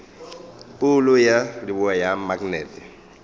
phoulo ya leboa ya maknete